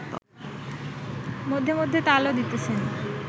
মধ্যে মধ্যে তালও দিতেছেন